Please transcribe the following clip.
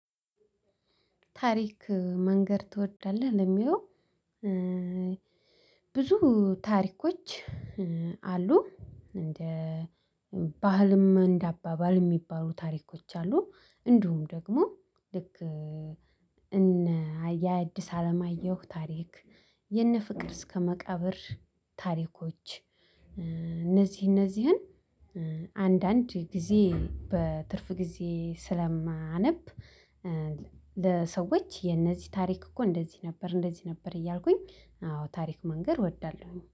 ታሪክ መንገር ትወዳለህ ለሚለው? ብዙ ታሪኮች አሉ እንደ ባህልም እንደ አባባል የሚባሉ ታሪኮች አሉ። እንዲሁም ደግሞ ልክ እነ የአድስ አለማየሁ ታሪክ የነ ፍቅር እስከ መቃብር ታሪኮች እነዚህ እነዚህን አንዳንድ ጊዜ በትርፍ ጊዜ ስለማነብ። ለሰዎች የነዚህ ታሪክ እኮ እንደዚህ ነበር እንደዚህ ነበር እያልኩኝ አዎ ታሪክ መንገድ እወዳለሁኝ